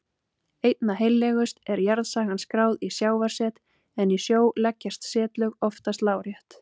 Einna heillegust er jarðsagan skráð í sjávarset en í sjó leggjast setlög oftast lárétt.